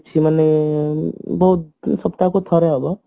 ମାନେ ବହୁତ ସପ୍ତାହକୁ ଥରେ ଅଧେ